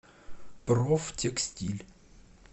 профтекстиль